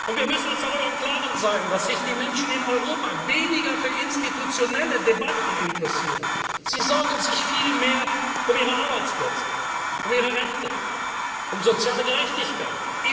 Wir müssen uns darüber im Klaren sein, dass sich die Menschen in Europa weniger für institutionelle Debatten interessieren sie sorgen sich viel mehr um ihre Arbeitsplätze, um ihre Rente, um soziale Gerechtigkeit.